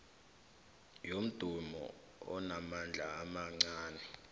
yomdumo onamandla amancani